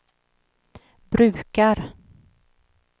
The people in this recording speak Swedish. brukar